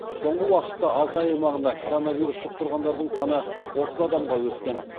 соңғы уақытта алтай аймағында коронавирус жұқтырғандардың саны отыз адамға өскен